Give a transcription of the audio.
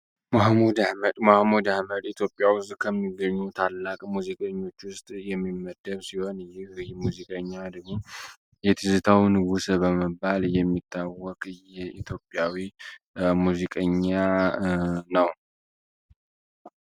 መሀሙድ አህመድ መሐሙድ አህመድ ኢትዮጵያ ውስጥ ከሚገኙ ታላቅ ሙዚቃ የዝታው ንጉስ በመባል የሚታወቅ የኢትዮጵያዊ ሙዚቀኛ ነው።